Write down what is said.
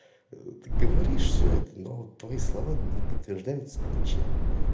ты говоришь все это но твои слова не подтверждаются ничем